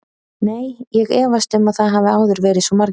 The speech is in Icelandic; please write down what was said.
Nei, ég efast um að það hafi áður verið svo margir.